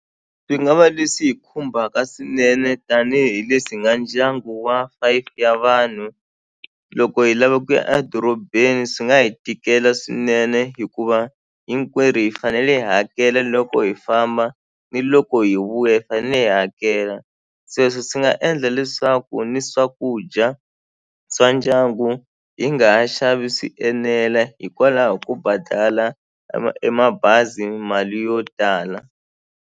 Swi nga va leswi hi khumbaka swinene tanihileswi hi nga ndyangu wa five ya vanhu loko hi lava ku ya a dorobeni swi nga hi tikela swinene hikuva hinkwerhu hi fanele hi hakela loko hi famba ni loko hi vuya hi fane hi hakela sweswo swi nga endla leswaku ni swakudya swa ndyangu hi nga ha xavi swi enela hikwalaho ko badala e mabazi mali yo tala.